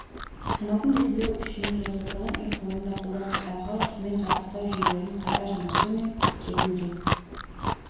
шамасын белгілеу үшін және тұрғын үй қорында қолданыстағы сумен жабдықтау жүйелерін қайта жаңарту мен жетілдіру